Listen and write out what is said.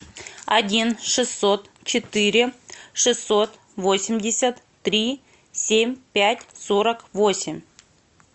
один шестьсот четыре шестьсот восемьдесят три семь пять сорок восемь